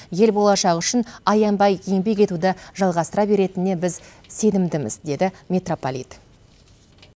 ел болашағы үшін аянбай еңбек етуді жалғастыра беретініне біз сенімдіміз деді митрополит